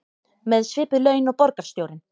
Með svipuð laun og borgarstjórinn